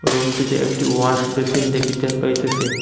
রুমটিতে একটি wash basin দেখিতে পাইতেসি।